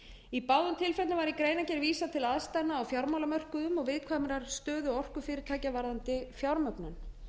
í báðum tilfellum var í greinargerð vísað til aðstæðna á fjármálamörkuðum og viðkvæmrar stöðu orkufyrirtækja varðandi fjármögnun